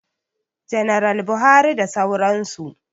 Janaral Buhari da sauran su